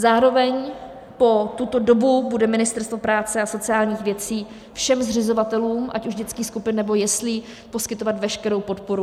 Zároveň po tuto dobu bude Ministerstvo práce a sociálních věcí všem zřizovatelům ať už dětských skupin, nebo jeslí poskytovat veškerou podporu.